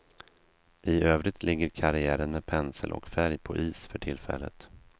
I övrigt ligger karriären med pensel och färg på is för tillfället.